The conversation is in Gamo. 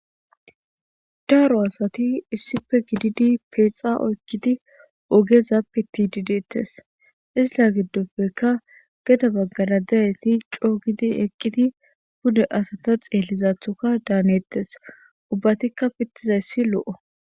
daaro asati issife gididi peexa oykkidi ogezappi tidi deettes isila giddoppeka geta baggana dayeti coogidi eqqidi bude asata xeellizathoka daanettes ubbatikka pittizayssi lo7o